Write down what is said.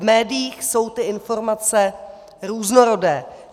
V médiích jsou ty informace různorodé.